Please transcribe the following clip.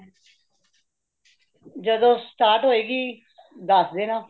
ਜਦੋ start ਹੋਏਗੀ, ਦੱਸ ਦੇਣਾ